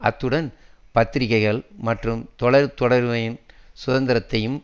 அத்துடன் பத்திரிகைகள் மற்றும் தொலைத்தொடர்பின் சுதந்திரத்தையும்